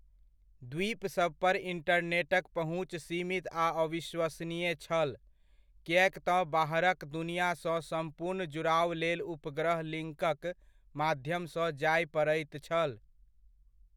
द्वीप सबपर इण्टरनेटक पहुँच सीमित आ अविश्वसनीय छल, किएक तँ बाहरक दुनियासँ सम्पूर्ण जुड़ाव लेल उपग्रह लिङ्कक माध्यमसँ जाय पड़ैत छल।